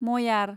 मयार